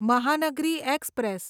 Mahanagari express